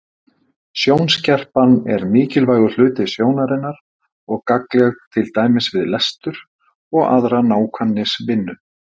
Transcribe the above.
Sjónskerpan er mikilvægur hluti sjónarinnar og gagnleg til dæmis við lestur og aðra nákvæmnisvinnu.